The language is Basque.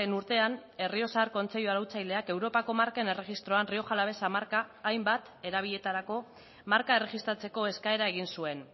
urtean errioxar kontseilu arautzaileak europako marken erregistroan rioja alavesa marka hainbat erabiletarako marka erregistratzeko eskaera egin zuen